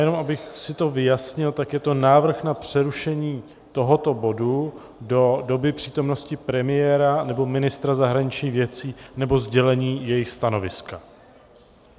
Jen abych si to vyjasni - tak je to návrh na přerušení tohoto bodu do doby přítomnosti premiéra, nebo ministra zahraničních věcí, nebo sdělení jejich stanoviska.